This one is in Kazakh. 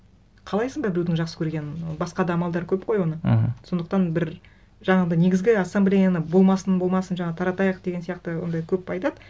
қалайсың ба біреудің жақсы көргенін басқа да амалдары көп қой оны мхм сондықтан бір жаңағындай негізгі ассамблеяны болмасын болмасын жаңағы таратайық деген сияқты ондай көп айтады